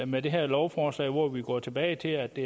med det her lovforslag hvor vi går tilbage til at det